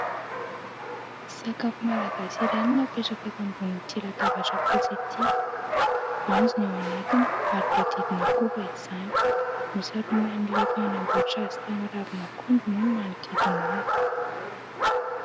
Sakafo Malagasy iray no napetraka eto ambonin'ity latabatra fotsy ity. Voanjo ny ao anatiny, ary voahodidina koba izany. Nosaroman'ilay mpanamboatra azy tamin'ny ravin'akondro moa ny manodidina azy.